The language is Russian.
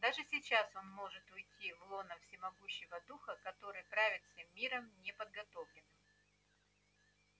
даже сейчас он может уйти в лоно всемогущего духа который правит всем миром неподготовленным